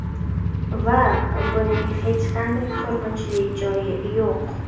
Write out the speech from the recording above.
Va buning hech qanday qo‘rqinchli joyi yo‘q”.